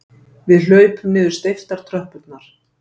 Við hlaupum niður steyptar tröppurnar.